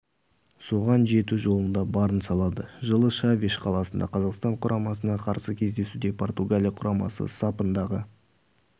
соған жету жолында барын салады жылы шавиш қаласында қазақстан құрамасына қарсы кездесуде португалия құрамасы сапындағы